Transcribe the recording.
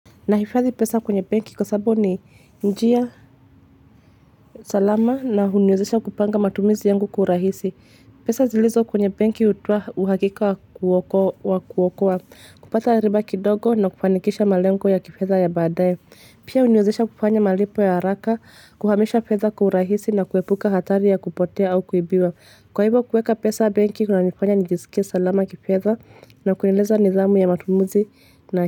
Nahifadhi pesa kwenye benki kwa sababu ni njia, salama na huniwezesha kupanga matumizi yangu kurahisi. Pesa zilizo kwenye benki hutoa uhakika wa kuokoa, kupata riba kidogo na kufanikisha malengo ya kifedha ya baadaye. Pia huniwezesha kufanya malipo ya haraka, kuhamisha fedha kwa urahisi na kuepuka hatari ya kupotea au kuibiwa. Kwa hivyo, kuweka pesa benki kunanifanya nijiskie salama kifedha, na kueneza nidhamu ya matumizi na.